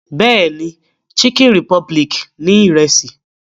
Bẹ́ẹ̀ni, Chicken republic ní Ìrẹ́sì